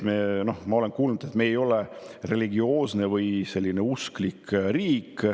Ma olen kuulnud, et me ei ole religioosne riik.